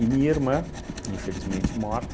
minha irmã, infelizmente morta,